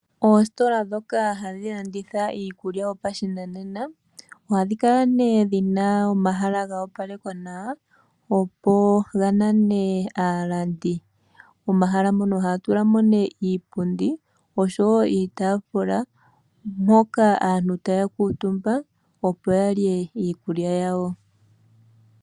Oositola dhoka hadhi landitha iikulya yopashinanena, ohadhi kala nee dhina omahala ga opalekwa nawa opo ga nane aalandi. Momahala mono ohaya tula mo nee iipundi oshowo iitafula, mpoka aantu taya kuutumba opo ya lye iikulya yawo.